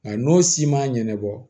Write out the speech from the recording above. Nka n'o si man ɲɛnabɔ